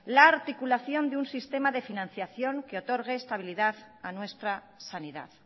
la articulación de un sistema de financiación que otorgue estabilidad a nuestra sanidad